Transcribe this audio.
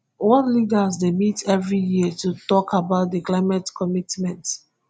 world leaders dey meet everi year to tok about di climate commitments